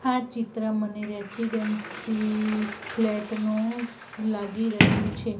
આ ચિત્ર મને રેસીડેન્સી ફ્લેટ નુ લાગી રહ્યુ છે.